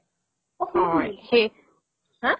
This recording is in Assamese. শেষ haa